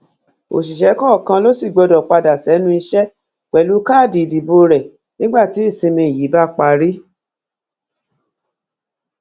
òṣìṣẹ kọọkan ló sì gbọdọ padà sẹnu iṣẹ pẹlú káàdì ìdìbò rẹ nígbà tí ìsinmi yìí bá parí